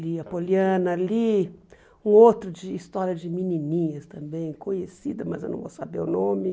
Li a Poliana, li um outro de história de menininhas também, conhecida, mas eu não vou saber o nome.